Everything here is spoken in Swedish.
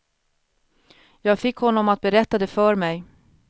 Jag fick honom att berätta det för mig.